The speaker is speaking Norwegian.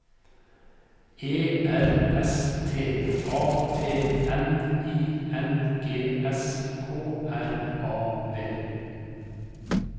E R S T A T N I N G S K R A V